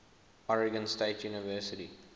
oregon state university